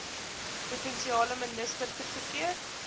provinsiale minister goedgekeur